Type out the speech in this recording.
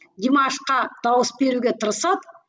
димашқа дауыс беруге тырысады